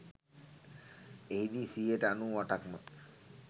එහිදී සියයට අනූඅටක්ම